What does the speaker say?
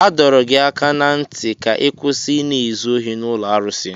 A dọrọ gị aka ná ntị ka ị kwụsị Ị na-ezu ohi n'ụlọ arụsị!